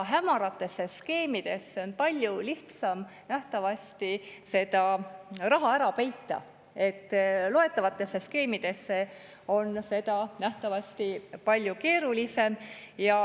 Hämaratesse skeemidesse on nähtavasti palju lihtsam raha ära peita, loetavatesse skeemidesse nähtavasti palju keerulisem.